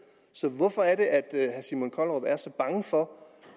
så hvorfor er det at herre simon kollerup er så bange for